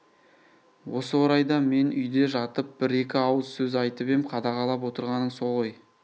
осы орайда мен үйде жатып бір-екі ауыз сөз айтып ем қадағалап отырғаның со ғой